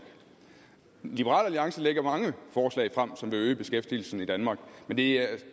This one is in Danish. liberal alliance lægger mange forslag frem som vil øge beskæftigelsen i danmark men det er